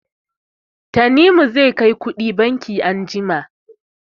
Tanimu zai kai kuɗi banki anjima.